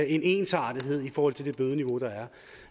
en ensartethed i forhold til det bødeniveau der